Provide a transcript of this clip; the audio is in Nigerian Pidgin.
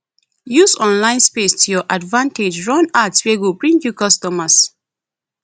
use online space to your advantage run ads wey go bring you customers